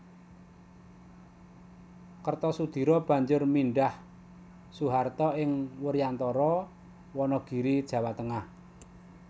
Kertosudiro banjur mindhah Soeharto ing Wuryantara Wanagiri Jawa Tengah